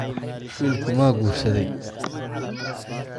Wiilku ma guursaday?